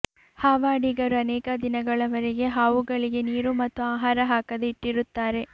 ಹಾವಾಡಿಗರು ಅನೇಕ ದಿನಗಳವರೆಗೆ ಹಾವುಗಳಿಗೆ ನೀರು ಮತ್ತು ಆಹಾರ ಹಾಕದೆ ಇಟ್ಟಿರುತ್ತಾರೆ